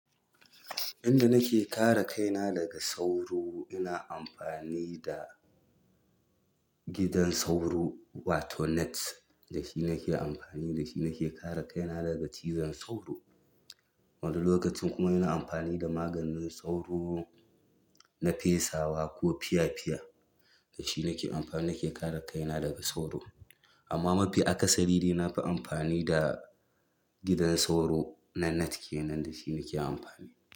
Inda nake kare kaina daga sauro ina amfani da gidan sauro wato net da shi nake amfani, da shi nake kare kaina daga cizon sauro. Wani lokacin kuma ina amfani da maganin sauro na fesawa ko fiya-fiya. Da shi nake amfani nake kare kaina daga sauro. Amma mafi akasari dai na fi amfani da gidan sauro na net kenan da shi nake amfani.